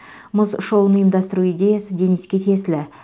мұз шоуын ұйымдастыру идеясы дениске тиесілі